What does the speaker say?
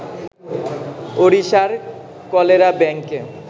ওড়িশার কলেরাব্যাঙ্কে